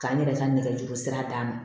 K'an yɛrɛ ka nɛgɛjurusira d'a ma